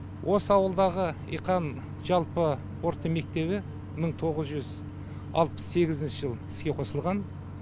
осы ауылдағы иқан жалпы орта мектебі мың тоғыз жүз алпыс сегізінші жылы іске қосылған